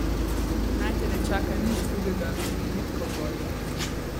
Naj te ne čaka nič drugega kot bridko gorje!